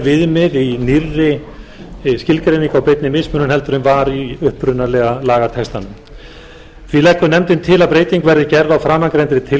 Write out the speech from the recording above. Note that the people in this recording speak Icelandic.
viðmið í nýrri skilgreiningu á beinni mismunun heldur en var í upprunalega lagatextanum því leggur nefndin til að breyting verði gerð á framangreindri